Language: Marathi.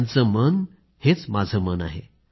त्यांचं मन हेच माझं मन आहे